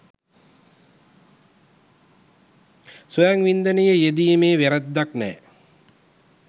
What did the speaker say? ස්වයං වින්දනයේ යෙදීමේ වැරැද්දක් නැහැ